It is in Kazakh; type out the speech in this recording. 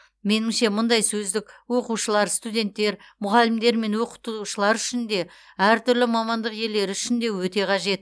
меніңше мұндай сөздік оқушылар студенттер мұғалімдер мен оқытушылар үшін де әртүрлі мамандық иелері үшін де өте қажет